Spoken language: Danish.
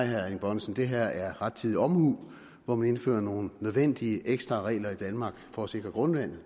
herre erling bonnesen det her er rettidig omhu hvor man indfører nogle nødvendige ekstra regler i danmark for at sikre grundvandet